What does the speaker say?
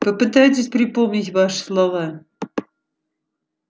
попытайтесь припомнить ваши слова